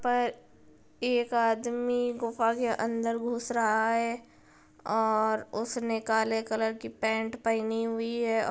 पर एक आदमी गुफा के अंदर घुस रहा है और उसने काले कलर की पैंट पहनी हुई है। और--